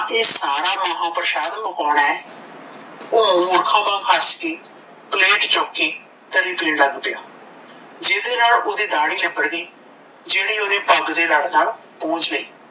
ਇਹ ਸਾਰਾ ਮਹਾਂ ਪ੍ਰਸ਼ਾਦ ਮੁਕਾਉਣਾ ਏ ਓਹ ਮੂਰਖਾਂ ਵਾਂਗ ਹੱਸ ਕੇ ਪਲੇਟ ਚੁੱਕ ਕੇ ਤਰੀ ਪੀਣ ਲੱਗ ਪਿਆ ਜਿਹੜੇ ਨਾਲ ਓਹਦੀ ਦਾਹੜੀ ਲਿੱਬੜ ਗਈ ਜਿਹੜੀ ਓਹਨੇ ਪੱਗ ਦੇ ਲੜ ਨਾਲ ਪੂੰਝ ਲਈ